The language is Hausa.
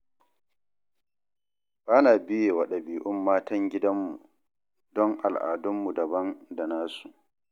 Ba na biye wa ɗabi'un matan gidanmu, don al'adunmu daban da nasu